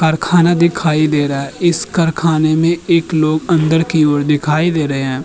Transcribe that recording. कारखाना दिखाई दे रहा है। इस कारखाने में एक लोग अंदर की ओर दिखाई दे रहे हैं।